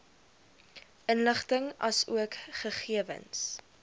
inligting asook gegewens